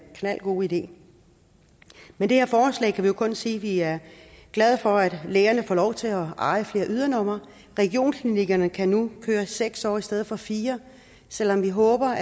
knaldgod idé med det her forslag kan vi jo kun sige at vi er glade for at lægerne får lov til at eje flere ydernumre regionsklinikkerne kan nu køre i seks år i stedet for fire selv om vi håber